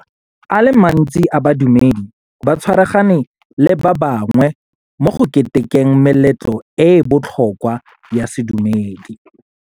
a le mantsi a badumedi ba tshwaragane le ba bangwe mo go ketekeng meletlo e e botlhokwa ya sedumedi.